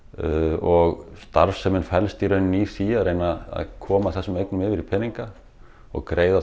og starfsemin felst í því að reyna að koma þessum eignum yfir í peninga og greiða